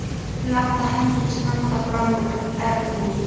Þeir láta hendur standa fram úr ermum.